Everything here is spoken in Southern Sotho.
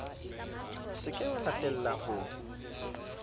se ke wa latella ho